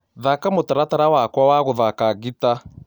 Thaka mũtaratara wakwa wa gũthaka gĩĩta